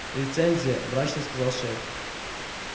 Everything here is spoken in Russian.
лицензия мрачно сказал шеф